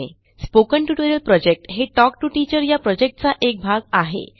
spoken tutorial project हे talk to teacher या प्रॉजेक्टचा एक भाग आहे